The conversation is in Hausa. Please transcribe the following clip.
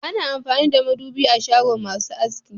Ana amfani da madubi a shagon masu aski